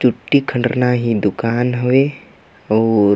चुट्टी खण्ड़ रनआ ही दुकान हवे अउर---